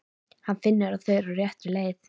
Hann finnur að þau eru á réttri leið.